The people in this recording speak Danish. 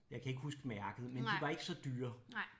Jeg kan ikke huske mærket men de var ikke så dyre